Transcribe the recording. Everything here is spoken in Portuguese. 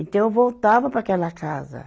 Então, eu voltava para aquela casa.